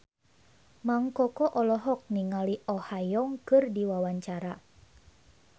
Mang Koko olohok ningali Oh Ha Young keur diwawancara